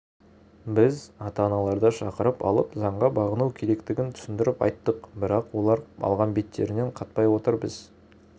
біз ата-аналарды шақырып алып заңға бағыну керектігін түсіндіріп айттық бірақ олар алған беттерінен қайтпай отыр біз